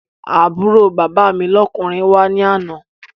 Àbúrò bàbá mi lọ́kùnrin wá ní àná